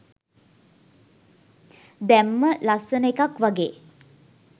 දැම්ම.ලස්සන එකක් වගේ.